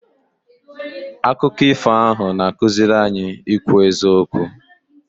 Akụkọ ifo ahụ na-akụziri anyị ikwu eziokwu.